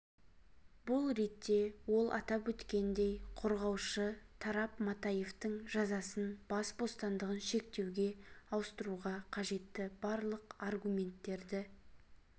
бұл ретте ол атап өткендей қорғаушы тарап матаевтың жазасын бас бостандығын шектеуге ауыстыруға қажетті барлық аргументтерді